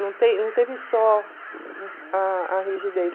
Não tem não teve só a a rigidez.